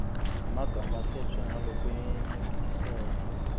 emagama akhetfwe ngalokwenetisako